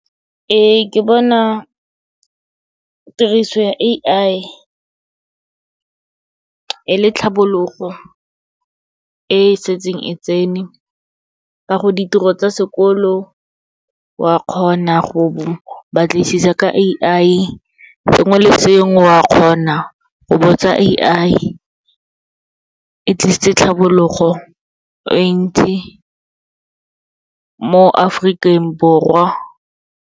Ee, ke bona tiriso ya A_I e le tlhabologo e setseng e tsene, ka gore ditiro tsa sekolo wa kgona go batlisisa ka A_I, sengwe le sengwe, wa kgona go botsa A_I. E tlisitse tlhabologo e ntsi mo Aforikeng Borwa.